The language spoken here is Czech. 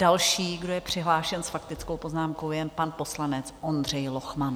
Další, kdo je přihlášen s faktickou poznámkou, je pan poslanec Ondřej Lochman.